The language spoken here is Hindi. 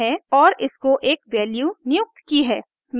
और इसको एक वैल्यू नियुक्त की है